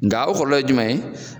Nga o kɔlɔlɔ ye jumɛn ye